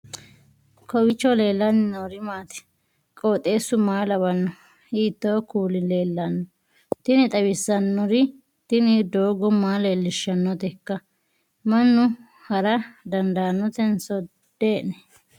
kowiicho leellannori maati ? qooxeessu maa lawaanno ? hiitoo kuuli leellanno ? tini xawissannori tini doogo maa leellishshannoteikka mannu hara dandaannotenso dee'ni ?